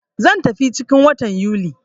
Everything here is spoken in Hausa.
Zan tafi ciki 'n watan Yuli.